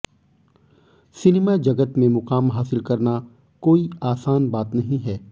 cinema जगत में मुकाम हासिल करना कोई आसान बात नहीं है